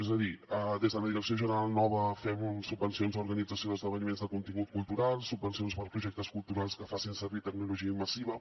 és a dir des de la direcció general nova fem subvencions a organització d’esdeveniments de contingut cultural subvencions per a projectes culturals que facin servir tecnologia immersiva